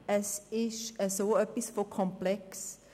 Es ist dermassen komplex.